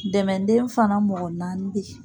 dɛmɛden fana mɔgɔ naani be ye.